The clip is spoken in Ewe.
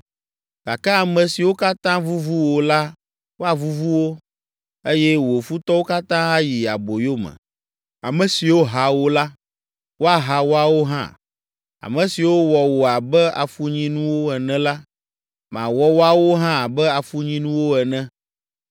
“ ‘Gake ame siwo katã vuvu wò la woavuvu wo, eye wò futɔwo katã ayi aboyo me. Ame siwo ha wò la, woaha woawo hã. Ame siwo wɔ wò abe afunyinuwo ene la, mawɔ woawo hã abe afunyinuwo ene.